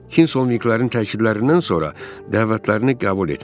Kingsolvinqlərin təkliflərindən sonra dəvətlərini qəbul etmişdi.